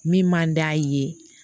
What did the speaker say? Min man d'a ye